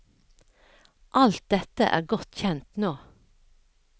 Alt dette er godt kjent nå.